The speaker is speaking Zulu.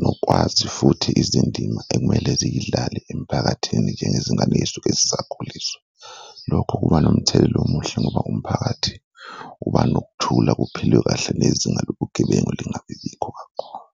nokwazi futhi izindima ekumele ziyidlale emphakathini njengezingane ey'suke zisakhuliswa, lokho kuba nomthelela omuhle ngoba umphakathi uba nokuthula kuphilwe kahle nezinga lobugebengu lingabibikho kakhulu.